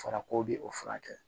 Fɔra ko bi o furakɛ